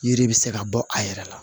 Yiri bɛ se ka bɔ a yɛrɛ la